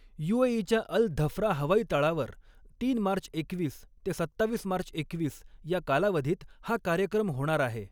युएईच्या Al Dhafra हवाईतळावर तीन March एकवीस ते सत्तावीस मार्च एकवीसया कालावधीत हा कार्यक्रम होणार आहे.